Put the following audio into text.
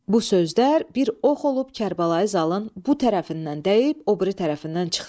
Bu sözlər bir ox olub Kərbəlayı Zalın bu tərəfindən dəyib, o biri tərəfindən çıxdı.